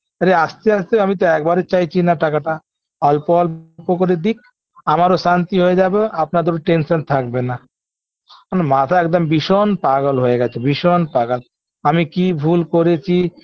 আরে আস্তে আস্তে আমি তো একবারে চাইছি না টাকাটা অল্প অল্প করে দিক আমারও শান্তি হয়ে যাবে আপনাদেরও tension থাকবে না আমার মাথা একদম ভীষণ পাগল হয়ে গেছে ভীষণ পাগাল আমি কি ভুল করেছি